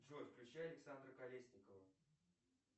джой включи александра колесникова